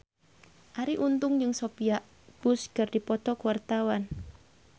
Arie Untung jeung Sophia Bush keur dipoto ku wartawan